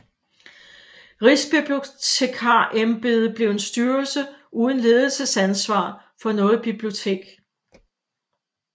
Rigsbibliotekarembedet blev en styrelse uden ledelsesansvar for noget bibliotek